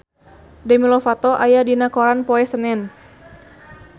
Demi Lovato aya dina koran poe Senen